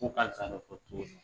tuguni.